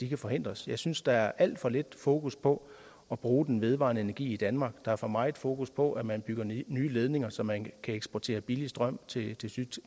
kan forhindres jeg synes der er alt for lidt fokus på at bruge den vedvarende energi i danmark der er for meget fokus på at man bygger nye nye ledninger så man kan eksportere billig strøm til